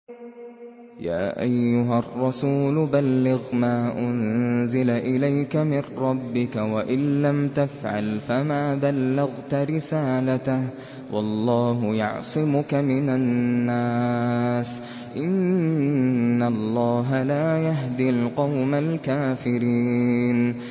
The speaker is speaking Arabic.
۞ يَا أَيُّهَا الرَّسُولُ بَلِّغْ مَا أُنزِلَ إِلَيْكَ مِن رَّبِّكَ ۖ وَإِن لَّمْ تَفْعَلْ فَمَا بَلَّغْتَ رِسَالَتَهُ ۚ وَاللَّهُ يَعْصِمُكَ مِنَ النَّاسِ ۗ إِنَّ اللَّهَ لَا يَهْدِي الْقَوْمَ الْكَافِرِينَ